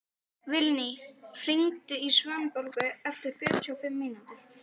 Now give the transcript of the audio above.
Vilný, hringdu í Svanborgu eftir fjörutíu og fimm mínútur.